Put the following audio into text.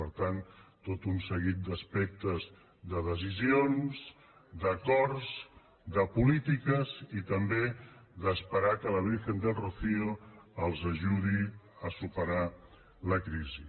per tant tot un seguit d’aspectes de decisions d’acords de polítiques i també d’esperar que la virgen del rocío els ajudi a superar la crisi